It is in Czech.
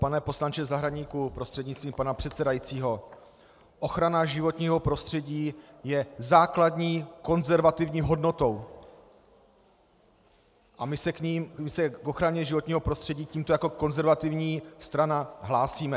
Pane poslanče Zahradníku prostřednictvím pana předsedajícího, ochrana životního prostředí je základní konzervativní hodnotou a my se k ochraně životního prostředí tímto jako konzervativní strana hlásíme.